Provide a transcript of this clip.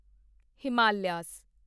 Himalaya